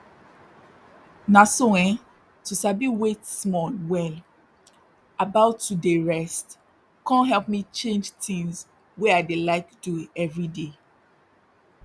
na so eh to sabi wait small well about to dey rest con help me change tins wey i dey like do everyday